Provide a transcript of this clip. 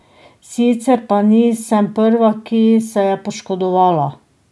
Sicer pa nisem prva, ki se je poškodovala.